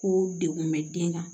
Ko degun bɛ den kan